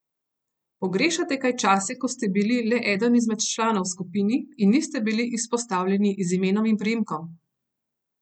Pogrešate kaj čase, ko ste bili le eden izmed članov v skupini in niste bili izpostavljeni z imenom in priimkom?